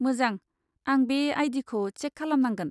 मोजां, आं बे आई.डी. खौ चेक खालामनांगोन।